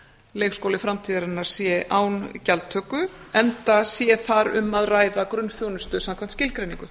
leikskóli framtíðarinnar sé án gjaldtöku enda sé þar um að ræða gunnþjónustu samkvæmt skilgreiningu